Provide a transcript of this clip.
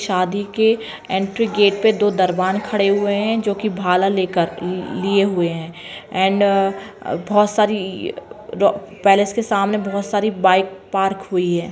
शादी के entry gate पे दो दरबान खड़े हुए हैं जो कि भाला लेकर लिए हुए हैं एण्ड बहोत सारी रो-पैलेस के सामने बहोत सारी बाइक पार्क हुई है।